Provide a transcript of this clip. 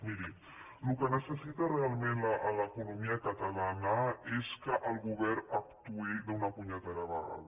miri el que necessita realment l’economia catalana és que el govern actuï d’una punyetera vegada